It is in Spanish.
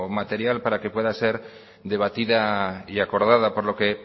material para que pueda ser debatida y acordada por lo que